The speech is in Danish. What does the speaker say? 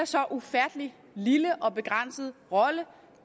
så ufattelig lille og begrænset rolle